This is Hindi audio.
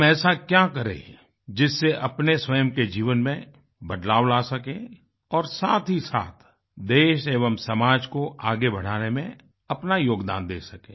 हम ऐसा क्या करें जिससे अपने स्वयं के जीवन में बदलाव ला सकें और साथहीसाथ देश एवं समाज को आगे बढ़ाने में अपना योगदान दे सकें